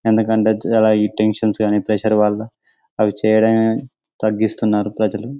ఎందుకంటే చాలా ఈ టెన్షన్ గాని ప్రెషర్ వల్ల అవి చేయడం తాగిస్తున్నారు ప్రజలు